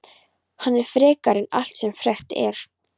Hann er frekari en allt sem frekt er.